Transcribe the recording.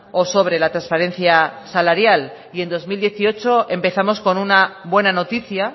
o sobre la transparencia salarial y en dos mil dieciocho empezamos con una buena noticia